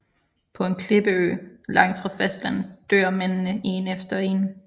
På en klippeø langt fra fastlandet dør mændene én efter én